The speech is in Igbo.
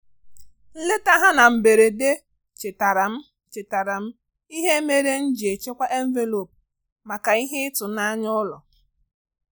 Nleta ha na mberede chetaara m chetaara m ihe mere m ji echekwa envelopu maka ihe ịtụnanya ụlọ.